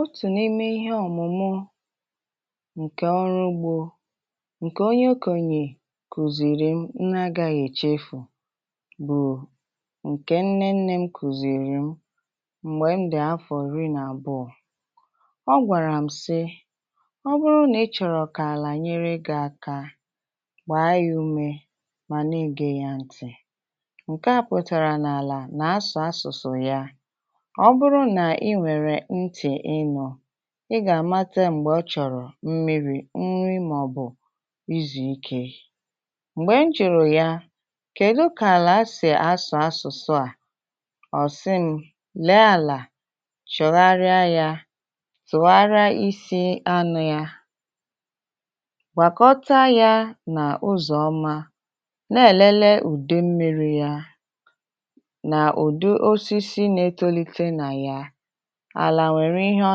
Ọtụ n'ime ihe ọmụmụ ǹkè ọrụ ugbọ ǹke onye ọkọnyè kùzìrì m nnà a gaghị èchefù bụ ǹkè nnennė m kùzìrì m, mgbè m dị afọ ịrị n’abụọ. Ọ gwàrà m sị, ọ bụrụ nà ịchọrọ kà àlà nyere gị aka, gbàa yà umè mà n’egè yà ntị, nke a pụtàrà n’àlà nà asụ asụsụ ya. Ọ bụrụ na ị nwere nti ịnụ, ị gà-àmata mgbè ọ chọrọ mmiri, nri mà ọ bụ izu ikè. Mgbè m jùrù ya kèdu kà àlà sèe asụ asụsụ à, ọ sị m, lèe àlà chọgharịa ya, tùgharịa isi anụ ya, gwàkọta ya nà ụzọ ọma, nà-elele ùde mmiri ya nà ùdu osisi na-etolite nà ya, àlà nwèrè ihe ọ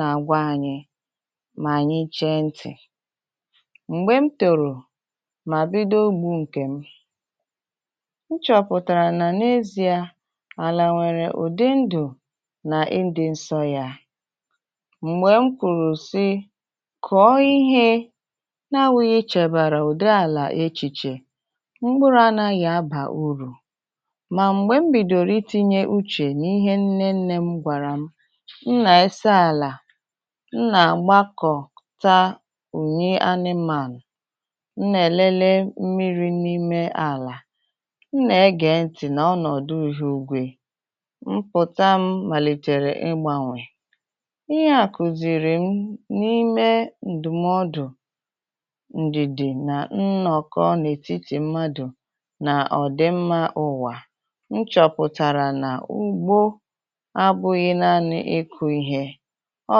nà-agwa ànyị mà ànyị chee ntị. Mgbè m tòrò mà bido ugbu ǹkè m, nchọpụtàrà nà n’ezie àlà nwèrè ụdị ndụ nà ịdị nsọ ya. Mgbè m kwùrù sị kọọ ihe na-anwụghị ichèbàrà ụdị àlà echìchè, mkpụrụ anaghị abà urù mà mgbè m bidòrò itinye uchè n’ihe nnennė m gwàrà m, m na-eso ala, m nà-àgbakọta ùnyi anịmanụ, m nèlele mmiri n’ime àlà, m nà-ege ntị nà ọnọdụ ihu ịgwe, mpụta m màlìtèrè ịgbànwè. Ihe à kùzìrì m n’ime ǹdùmọdụ ǹdìdì nà nnọkọ n’ètitì mmadụ nà ọdị mma ụwà, nchọpụtàrà na ugbọ abụghị naanị iku ihe, ọ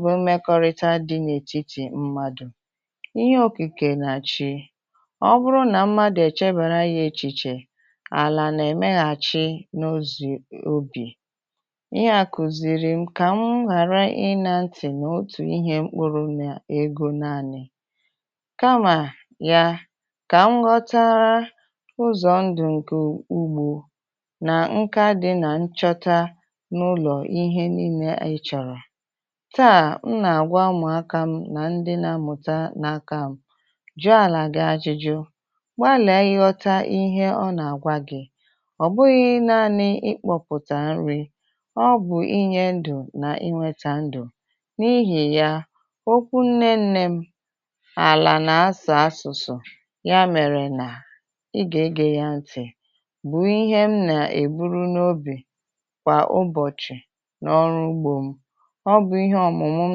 bụ mmekọrịta dị n’ètitì mmadụ, ihe okikè nà chi. Ọ bụrụ nà mmadụ èchebara ya echìchè, àlà nà-èmeghàchi n’ezu obì, ihe àkùzìrị m kà m ghàra ị na ntị nà otù ihe mkpụrụ n’egọ naanị kamà yà, kà m ghọta ụzọ ndụ ǹkè ugbọ nà nka dị nà nchọta n’ụlọ ihe niile ịchọrọ, taa m nà-àgwà ụmụaka m nà ndị na-amụta n’aka m, jùà àlà gị ajụjụ, gbàle nghọta ihe ọ nà-àgwa gị, ọbụghị naanị ịkpọpụta nri, ọ bụ inye ndù nà-inweta ndù, n’ihì yà okwu nnennė m, “àlà nà asụ asụsụ,” ya mèrè nà ị gà-egè ya ntị, bụ ihe m nà-èburu n’obì kwa ụbọchì n’ọrụ ugbọ m. Ọ bụ ihe ọmụmụ m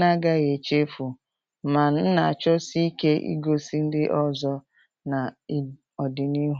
na-agaghị echefu mà m na-achọsi ike igosi ndị ọzọ na ị, ọdịnihu.